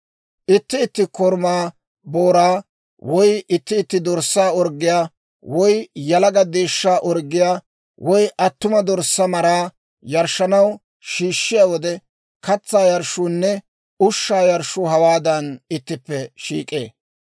« ‹Itti itti korumaa booraa, woy itti itti dorssaa orggiyaa, woy yalaga deeshshaa orggiyaa, woy attuma dorssaa maraa yarshshanaw shiishshiyaa wode, katsaa yarshshuunne ushshaa yarshshuu hawaadan ittippe shiik'ee.